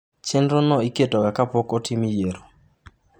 Chenrono iketoga ka podi ok otim yiero.